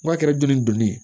N'a kɛra dunni donni ye